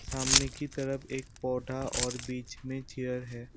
सामने की तरफ एक पौधा और बीच में चेयर है।